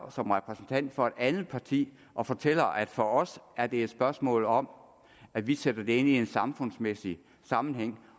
som repræsentant for et andet parti og fortæller at for os er det et spørgsmål om at vi sætter det ind i en samfundsmæssig sammenhæng